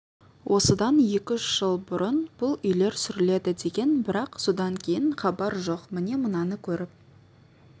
осыдан екі-үш жыл бұрын бұл үйлер сүріледі деген бірақ содан кейін хабар жоқ міне мынаны көріп